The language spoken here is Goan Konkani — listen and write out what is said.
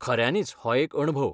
खऱ्यानीच हो एक अणभव.